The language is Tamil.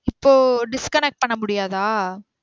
இப்போ disconnect பண்ண முடியாதா